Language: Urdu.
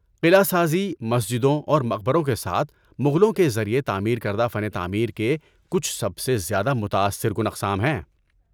قلعہ سازی، مسجدوں اور مقبروں کے ساتھ، مغلوں کے ذریعہ تعمیر کردہ فن تعمیر کے کچھ سب سے زیادہ متاثر کن اقسام ہیں۔